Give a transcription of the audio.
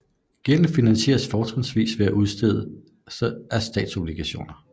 Gælden finansieres fortrinsvis ved udstedelse af statsobligationer